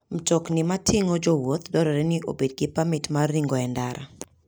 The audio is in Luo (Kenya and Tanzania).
Mtokni mating'o jowuoth dwarore ni obed gi pamit mar ringo e ndara.